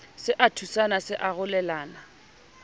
se a thusana se arolelana